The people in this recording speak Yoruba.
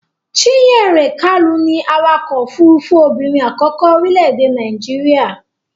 Chinyere Kalu ni awakọ-òfurufú obìnrin àkọ́kọ́ orílẹ̀-èdè Nàíjíríà.